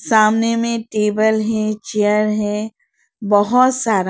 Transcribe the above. सामने में टेबल है चेयर है बहुत सारा।